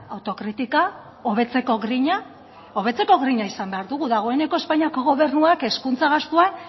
autokritika hobetzeko grina hobetzeko grina izan behar dugu dagoeneko espainiako gobernuak hezkuntza gastuan